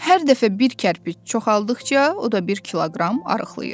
Hər dəfə bir kərpic çoxaldıqca o da bir kiloqram arıqlayır.